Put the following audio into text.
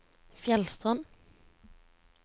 Fjellstrand